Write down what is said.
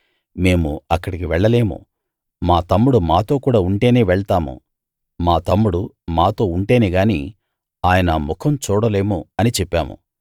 మేము అక్కడికి వెళ్ళలేము మా తమ్ముడు మాతో కూడా ఉంటేనే వెళ్తాము మా తమ్ముడు మాతో ఉంటేనే గాని ఆయన ముఖం చూడలేము అని చెప్పాము